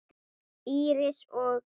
Íris og